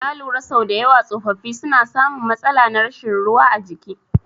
Na lura sau dayawa tsofaffi suna samun matsala na rashin ruwa a jiki